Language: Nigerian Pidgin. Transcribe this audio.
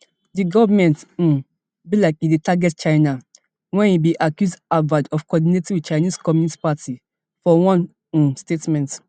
di goment um be like e dey target china wen e bin accuse harvard of coordinating wit chinese communist party for one um statement